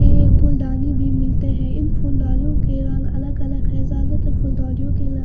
ये फूल डाली भी मिलते हैं इन फुल डालियों के रंग अलग-अलग है ज्यादातर फूल डालियों के--